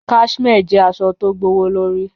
Cashmere jẹ̀ àṣọ̀ tó gbọwọ̀lọ̀rí.